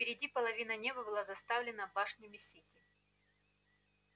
впереди половина неба была заставлена башнями сити